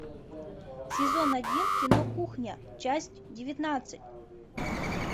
сезон один кино кухня часть девятнадцать